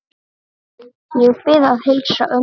Ég bið að heilsa ömmu.